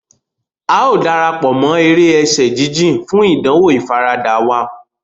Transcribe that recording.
A o darapọ̀ mọ èrè ẹsẹ jijìn, fún ìdánwò ifarada wa.